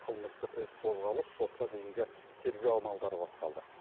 қылмыстық іс қозғалып сотқа дейінгі тергеу амалдары басталды